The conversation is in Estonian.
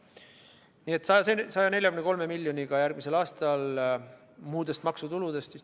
Igal juhul järgmisel aastal toetatakse haigekassat 143 miljoni euroga muudest maksutuludest.